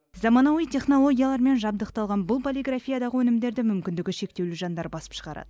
заманауи технологиялармен жабдықталған бұл полиграфиядағы өнімдерді мүмкіндігі шектеулі жандар басып шығарады